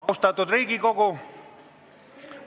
Austatud Riigikogu!